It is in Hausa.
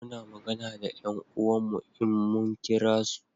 Muna magana da 'yan uwan mu in mun kira su